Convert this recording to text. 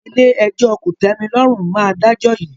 Ilé-ẹjọ́ kò tẹ́mi lọ́rùn máa dájọ́ yìí